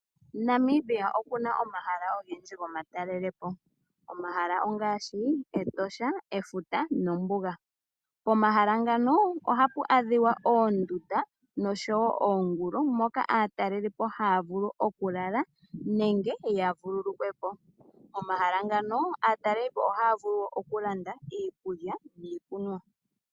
Namibia okuna omahala ogendji goma talelepo. Omahala ongashi etosha, efuta nombuga, pomahala ngaka ohapu adhika oondunda nosho wo oongulu moka atalelelipo haya vulu oku lala nenge ya vululukwepo, pomahala ngano aatalelipo ohaya vulu okulanda iikulya niikunwa.